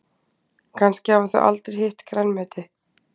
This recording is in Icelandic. Kannski hafa þau aldrei hitt grænmeti.